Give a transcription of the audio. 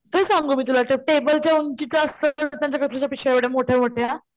कस सांगू मी तुला त्या टेबले च्या उंचीच असतपिशव्या एवढ्या मोठ्या मोठ्या,